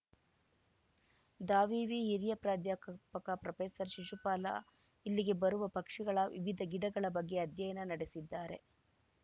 ದಾವಿವಿ ಹಿರಿಯ ಪ್ರಾಧ್ಯಾಕ ಪಕ ಪ್ರೊಫೆಸರ್ ಶಿಶುಪಾಲ ಇಲ್ಲಿಗೆ ಬರುವ ಪಕ್ಷಿಗಳ ವಿವಿಧ ಗಿಡಗಳ ಬಗ್ಗೆ ಅಧ್ಯಯನ ನಡೆಸಿದ್ದಾರೆ